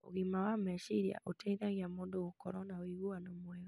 Ũgima wa meciria ũteithagia mũndũ gũkorwo na ũiguano mwega.